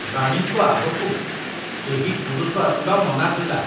ରାଣୀଙ୍କ ଆଗକୁ କେହି ପୁରୁଷ ଆସିବା ମନା ଥିଲା।